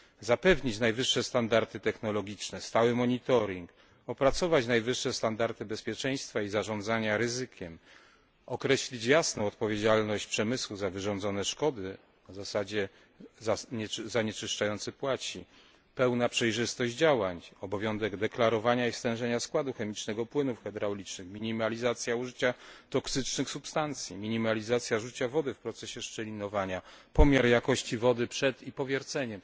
zapewnić najwyższe standardy technologiczne, stały monitoring, opracować najwyższe standardy bezpieczeństwa i zarządzania ryzykiem, określić jasno odpowiedzialność przemysłu za wyrządzone szkody na zasadzie zanieczyszczający płaci. Pełna przejrzystość działań, obowiązek deklarowania stężenia i składu chemicznego płynów hydraulicznych, minimalizacja użycia toksycznych substancji, minimalizacja użycia wody w procesie szczelinowania, pomiar jakości wody przed i po wierceniu.